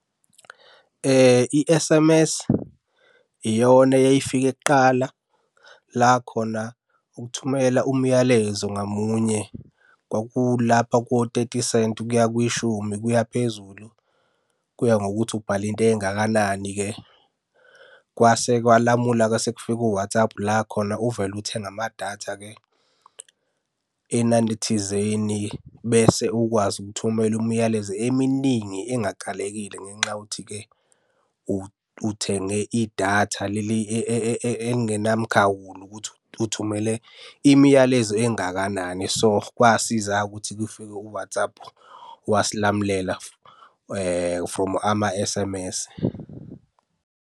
I-S_M_S iyona eyayifike kuqala la khona ukuthumela umyalezo ngamunye kwakulapha ko-thirty senti kuya kwishumi kuya phezulu. Kuya ngokuthi ubhale into engakanani-ke. Kwase kwalamula-ke sekufike o-WhatsApp la khona uvele uthenge amadatha-ke enani thizeni, bese ukwazi ukuthumela umyalezo eminingi engakalekile ngenxa yokuthi-ke uthenge idatha leli elingenamkhawulo, ukuthi uthumele imiyalezo engakanani. So, kwasiza-ke ukuthi kufike u-WhatsApp wasilamulela from ama-S_M_S.